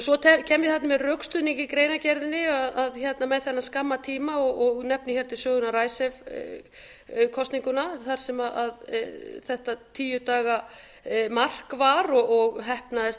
svo kem ég með rökstuðning í greinargerðinni með þennan skamma tíma og nefni hér til sögunnar icesave kosninguna þar sem þetta tíu daga mark var og heppnaðist